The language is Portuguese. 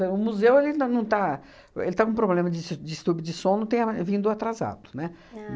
O museu ele ainda não está... ele está com problema de su de estupe de som, não tem a vindo atrasado, né?